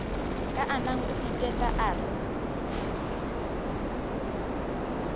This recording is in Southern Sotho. kaana o iteta o re